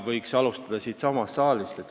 Võiks alustada siitsamast saalist.